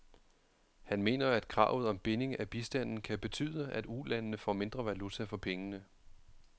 Han mener, at kravet om binding af bistanden kan betyde, at ulandene får mindre valuta for pengene.